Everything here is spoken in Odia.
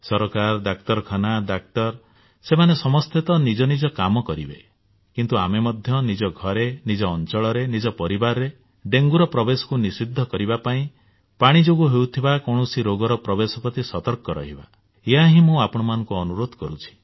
ସରକାର ଡାକ୍ତରଖାନା ଡାକ୍ତର ସେମାନେ ସମସ୍ତେ ନିଜ କାମ କରିବେ କିନ୍ତୁ ଆପଣ ମଧ୍ୟ ନିଜ ଘରେ ନିଜ ଅଞ୍ଚଳରେ ନିଜ ପରିବାରରେ ଡେଙ୍ଗୁର ପ୍ରବେଶକୁ ନିଷିଦ୍ଧ କରିବା ପାଇଁ ପାଣି ଯୋଗୁ ହେଉଥିବା କୌଣସି ରୋଗର ପ୍ରବେଶ ପ୍ରତି ସତର୍କ ରହିବା ଏହା ହିଁ ମୁଁ ଆପଣମାନଙ୍କୁ ଅନୁରୋଧ କରୁଛି